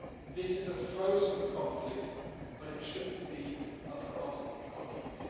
This is a frozen conflict, but it shouldn't be a forgotten conflict.